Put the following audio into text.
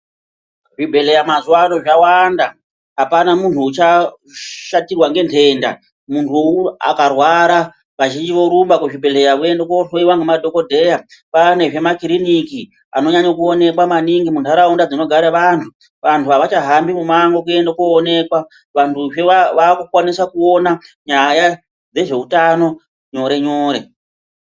Zvibhedhlera mazuvaano zvawanda, apana muntu uchashatirwa ngentenda. Muntu akarwara vazhinji vorumba kuzvibhadhlera voende kuhloiwa ngemadhokodheya. Kwaanezve makiriniki anonyanye kuonekwa maningi muntaraunda dzinogare vantu. Vantu avachahambi mumango kuende koonekwa, vantuzve vakukwanisa kuona nyaya dzezveutano nyore-nyore.